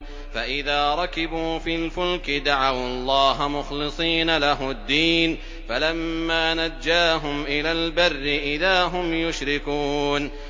فَإِذَا رَكِبُوا فِي الْفُلْكِ دَعَوُا اللَّهَ مُخْلِصِينَ لَهُ الدِّينَ فَلَمَّا نَجَّاهُمْ إِلَى الْبَرِّ إِذَا هُمْ يُشْرِكُونَ